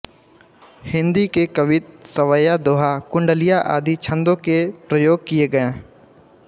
हिंदी के कवित्त सवैया दोहा कुंडलिया आदि छंदों के प्रयोग किए गए